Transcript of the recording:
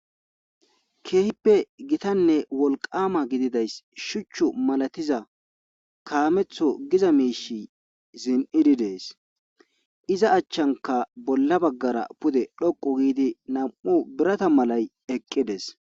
Keehippe gitanne wolqama gididays shuchchu malatiza kaametho giza miishi zin'idi dees iza achchanka bolla baggara pude dhoqu giidi nam'u birata malay eqqides.